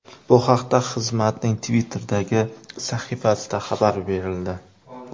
Bu haqda xizmatning Twitter’dagi sahifasida xabar berildi .